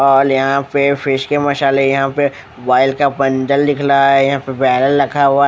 और यहाँ पे फिश के मसाले यहाँ पे वाईल का बन्डल दिख रहा है यहाँ पर बेरल रखा हुआ है ।